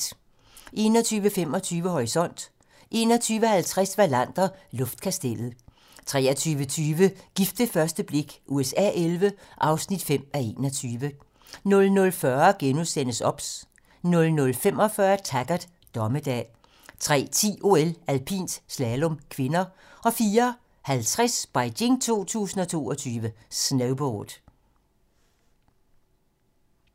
21:25: Horisont 21:50: Wallander: Luftkastellet 23:20: Gift ved første blik USA XI (5:21) 00:40: OBS * 00:45: Taggart: Dommedag 03:10: OL: Alpint - slalom (k) 04:50: Beijing 2022: Snowboard